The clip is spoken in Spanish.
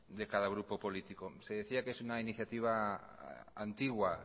de cada grupo político se decía que es una iniciativa antigua